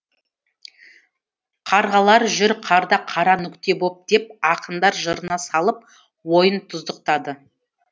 қарғалар жүр қарда қара нүкте боп деп ақындар жырына салып ойын тұздықтады